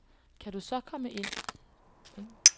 Kan du så komme herind.